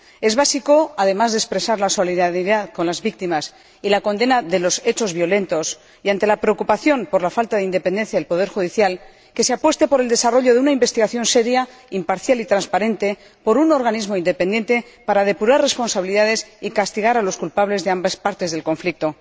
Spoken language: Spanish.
Es básico, además de expresar la solidaridad con las víctimas y la condena de los hechos violentos, y ante la preocupación por la falta de independencia del poder judicial, que se apueste por el desarrollo de una investigación seria, imparcial y transparente por un organismo independiente para depurar responsabilidades y castigar a los culpables de ambas partes del conflicto.